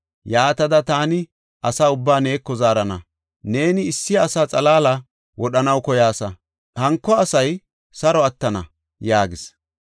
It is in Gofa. Yaatada taani asa ubbaa neeko zaarana. Neeni issi asa xalaala wodhanaw koyaasa; hanko asay saro attana” yaagis.